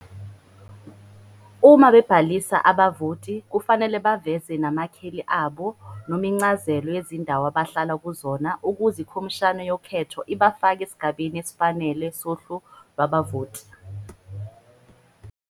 Uma bebhalisa abavoti kufanele baveze namakheli abo noma incazelo yezindawo abahlala kuzona ukuze iKhomishana yoKhetho ibafake esigabeni esifanele sohlu lwabavoti.